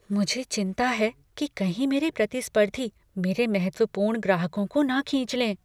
मुझे चिंता है कि कहीं मेरे प्रतिस्पर्धी मेरे महत्वपूर्ण ग्राहकों को न खींच लें।